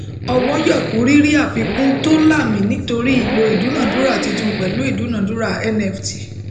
ọwọ yòókù ri ri àfikún to laami nítorí ìlò ìdúnádúrà títún pẹlú ìdúnádúrà nft